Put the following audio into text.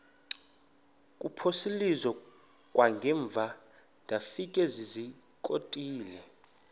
kuphosiliso kwangaemva ndafikezizikotile